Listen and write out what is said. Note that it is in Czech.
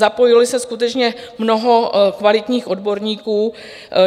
Zapojilo se skutečně mnoho kvalitních odborníků.